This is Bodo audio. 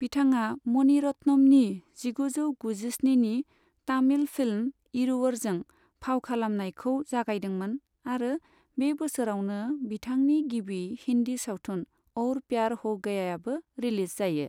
बिथाङा मणि रत्नमनि जिगुजौ गुजिस्निनि तामिल फिल्म इरुवरजों फाव खालामनायखौ जागायदोंमोन आरो बे बोसोरावनो बिथांनि गिबि हिंदी सावथुन और प्यार हो गयायाबो रिलिज जायो।